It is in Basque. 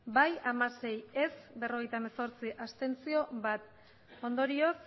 bai hamasei ez berrogeita hemezortzi abstentzioak bat ondorioz